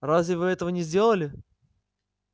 разве вы этого не сделали